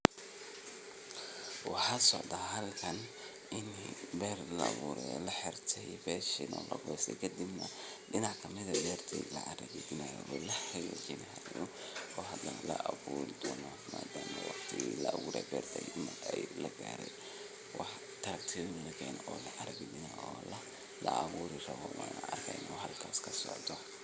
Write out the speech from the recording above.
Waxaa socdaa halkan in beer laaburayo laxirtey besha malagoste kadib neh dinac kamid eh beerti lacara gadhinaayo oo la xagaajinayo oo hadane laabur doono madama marki laaburey berta lagaarey waxa tractor lakeene oo lacaragadhinayo oo laaburi rabo aan arkeyna waxa halkasi kasocdo.